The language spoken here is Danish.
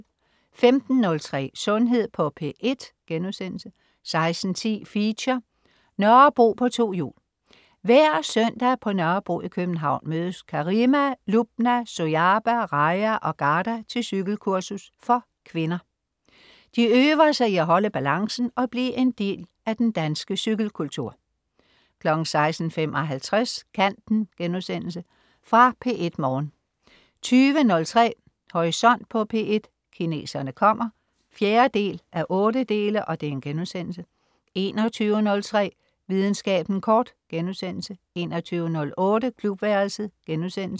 15.03 Sundhed på P1* 16.10 Feature: Nørrebro på to hjul. Hver søndag på Nørrebro i København mødes Karima, Lubna, Sojaba, Raja og Ghada til cykelkursus for kvinder. De øver sig i at holde balancen og blive en del af den danske cykelkultur 16.55 Kanten.* Genudsendelse fra P1 Morgen 20.03 Horisont på P1: Kineserne kommer 4:8* 21.03 Videnskaben kort* 21.08 Klubværelset*